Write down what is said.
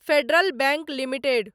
federal Bank limited